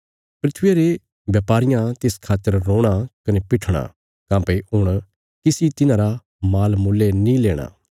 धरतिया रे ब्यापारियां तिस खातर रोणा कने पीठणां काँह्भई हुण किसी तिन्हांरा माल मुल्ले नीं लेणा